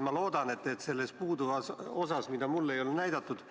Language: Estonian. Ma loodan, et selles puudutavas osas, mida mulle ei ole näidatud,